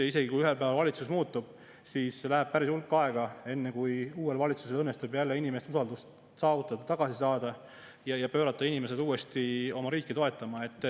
Isegi kui ühel päeval valitsus muutub, siis läheb päris hulk aega, enne kui uuel valitsusel õnnestub jälle inimeste usaldust saavutada, tagasi saada ja pöörata inimesed uuesti oma riiki toetama.